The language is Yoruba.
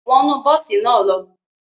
Wọnu bosi naa lo!